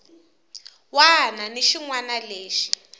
wana ni xin wana lexi